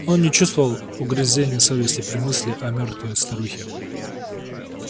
он не чувствовал угрызения совести при мысли о мёртвой старухе